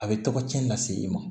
A bɛ tɔgɔci lase i ma